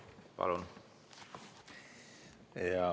Palun!